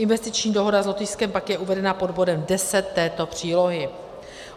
Investiční dohoda s Lotyšskem pak je uvedena pod bodem 10 této přílohy.